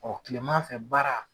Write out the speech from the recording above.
Kilema fɛ baara